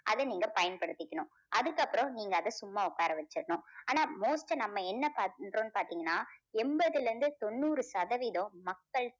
அதை நீங்க பயன்படுத்திக்கணும். அதுக்கப்புறம் நீங்க அதை சும்மா உட்கார வச்சிரணும். ஆனா most நம்ம என்ன பண்றோம்னு பாத்தீங்கன்னா எண்பதுல இருந்து தொண்ணூறு சதவீதம் மக்கள்